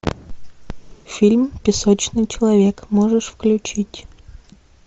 фильм песочный человек можешь включить